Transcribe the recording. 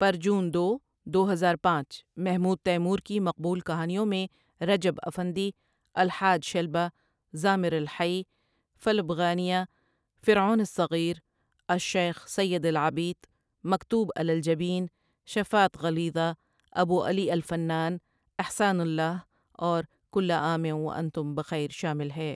پر جون دو دو ہزار پانچ محمود تیمور کی مقبول کہانیوں میں رجب افندی، الحاج شلبۃ، زامر الحي، فلب غانيۃ، فرعون الصغير، الشيخ سيد العبيط، مكتوب علی الجبين، شفاۃ غليظۃ، أبو علی الفنان، إحسان للہ اور كل عام وأنتم بخير شامل ہیں۔